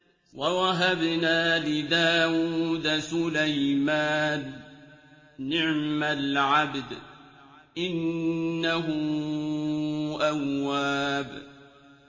وَوَهَبْنَا لِدَاوُودَ سُلَيْمَانَ ۚ نِعْمَ الْعَبْدُ ۖ إِنَّهُ أَوَّابٌ